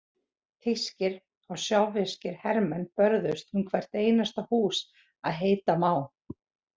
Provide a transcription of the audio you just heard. Þýskir og sovéskir hermenn börðust um hvert einasta hús að heita má.